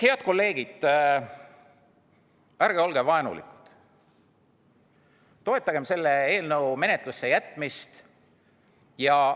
Head kolleegid, ärge olge vaenulikud, toetage selle eelnõu menetlusse jätmist!